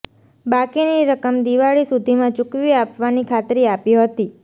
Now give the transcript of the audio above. બાકીની રકમ દિવાળી સુધીમાં ચૂકવી આપવાની ખાતરી આપી હતી